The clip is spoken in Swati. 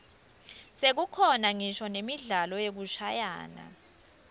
sekukhona ngisho nemidlalo yekushayana